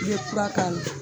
I bɛ kura k'a la